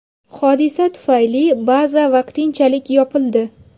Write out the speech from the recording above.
Hodisa tufayli baza vaqtinchalik yopildi.